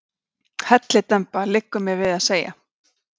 Hellidemba, liggur mér við að segja.